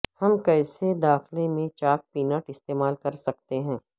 ہم کیسے داخلہ میں چاک پینٹ استعمال کر سکتے ہیں